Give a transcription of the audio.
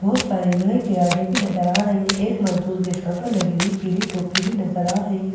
बहुत सारे लोहे के रडे भी नजर आ रही है एक मजदूर के सर पर लगी हुई पीली टोपी भी नजर आ रही है।